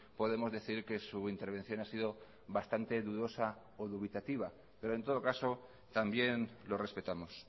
podemos decir que su intervención ha sido bastante dudosa o dubitativa pero en todo caso también lo respetamos